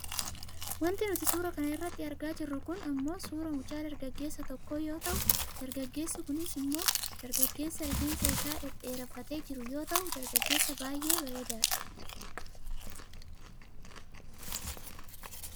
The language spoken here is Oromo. Wanti nuti suuraa kana irratti argaa jirru kun ammoo suuraa mucaa dargaggeessa tokkoo yoo ta'u, dargaggeessi kun smmoo dargaggeessa rifeensa isaa dhedheereffatee jiru yoo ta'u , dargaggeessa baayyee bareedaa dha.